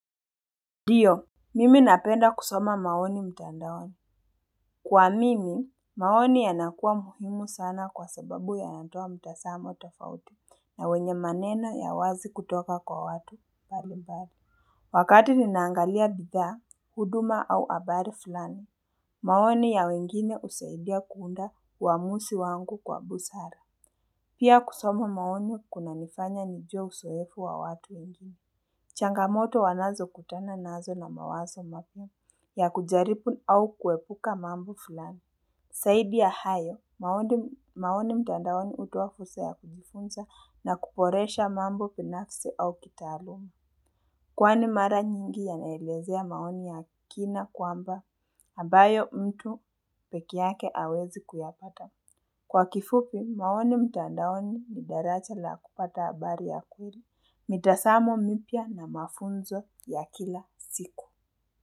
Ndiyo mimi napenda kusoma maoni mtandaoani kwa mimi maoni yanakuwa muhimu sana kwa sababu yanatoa mtazamo tofauti na wenye maneno ya wazi kutoka kwa watu mbali mbali wakati ninaangalia bidhaa huduma au habari fulani maoni ya wengine husaidia kuunda uamuzi wangu kwa busara pia kusoma maoni kuna nifanya nijue uzoefu wa watu wengine changamoto wanazo kutana nazo na mawazo mapya ya kujaribu au kuepuka mambo fulani. Zaidi ya hayo, maoni mtandaoni hutoa fursa ya kujifunza na kuboresha mambo binafsi au kitaaluma. Kwani mara nyingi ya naelezea maoni ya kina kwamba ambayo mtu pekeyake awezi kuyapata. Kwa kifupi, maoni mtandaoni ni darasa la kupata habari ya kweli, mitazamo mipya na mafunzo ya kila siku.